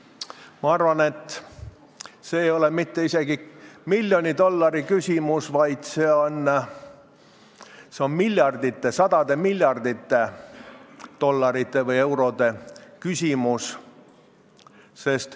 Ma arvan, et see ei ole isegi mitte miljoni dollari küsimus, vaid see on sadade miljardite dollarite või eurode küsimus.